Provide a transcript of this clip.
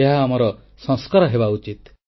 ଏହା ଆମର ସଂସ୍କାର ହେବା ଉଚିତ